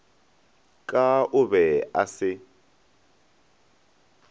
ka o be a se